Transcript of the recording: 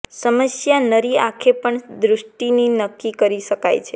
સમસ્યા નરી આંખે પણ દૃષ્ટિની નક્કી કરી શકાય છે